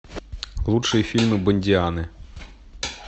лучшие фильмы бондианы